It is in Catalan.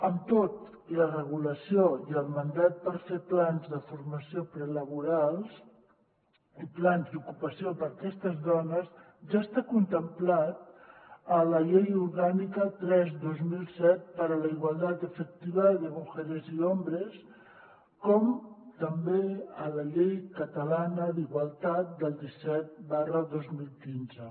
amb tot la regulació i el mandat per fer plans de formació prelaboral i plans d’ocupació per a aquestes dones ja està contemplat a la llei orgànica tres dos mil set para la igualdad efectiva de mujeres y hombres com també a la llei catalana d’igualtat disset dos mil quinze